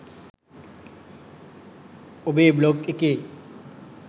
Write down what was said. ඔබේ බ්ලොග් එකේ